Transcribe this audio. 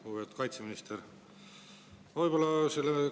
Lugupeetud kaitseminister!